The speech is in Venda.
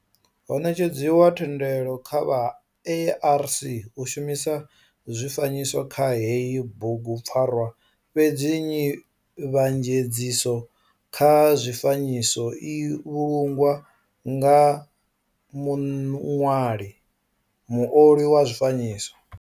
Ho netshedziwa thendelo kha vha ARC u shumisa zwifanyiso kha heyi bugupfarwa fhedzi nzivhanyedziso kha zwifanyiso i vhulungwa nga muṅwali muoli wa zwifanyiso.